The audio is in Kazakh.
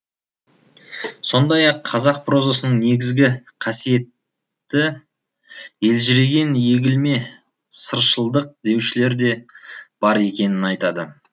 сондай ақ қазақ прозасының негізгі қасиеті елжіреген егілме сыршылдық деушілер де бар екенін айтады